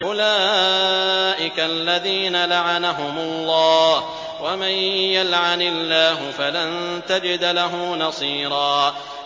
أُولَٰئِكَ الَّذِينَ لَعَنَهُمُ اللَّهُ ۖ وَمَن يَلْعَنِ اللَّهُ فَلَن تَجِدَ لَهُ نَصِيرًا